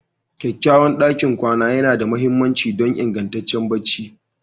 Kyakkyawan ɗakin kwana yana da mahimmanci don ingantaccen barci